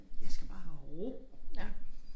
Jeg skal bare have ro ik